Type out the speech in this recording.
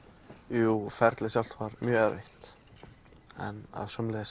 jú ferlið sjálft var mjög erfitt en sömuleiðis